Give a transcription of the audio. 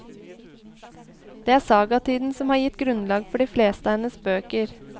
Det er sagatiden som har gitt grunnlag for de fleste av hennes bøker.